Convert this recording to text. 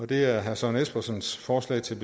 det er herre søren espersens forslag til